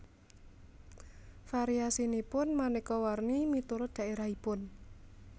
Variasinipun manéka warni miturut dhaérahipun